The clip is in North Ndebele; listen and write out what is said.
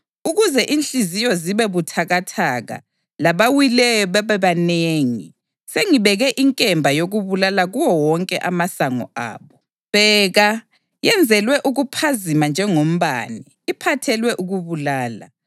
Ukuze inhliziyo zibe buthakathaka labawileyo babebanengi, sengibeke inkemba yokubulala kuwo wonke amasango abo. Bheka! Yenzelwe ukuphazima njengombane, iphathelwe ukubulala.